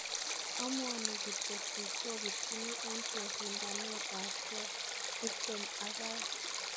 aamuani kityo biik chopirchin en chesindaneke tiptem ak aeng